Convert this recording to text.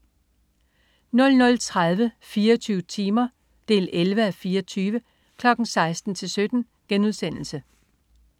00.30 24 timer 11:24. 16.00-17.00*